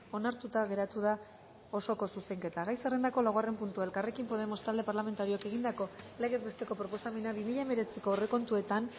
onartuta geratu da osoko zuzenketa gai zerrendako laugarren puntua elkarrekin podemos talde parlamentarioak egindako legez besteko proposamena bi mila hemeretziko aurrekontuetan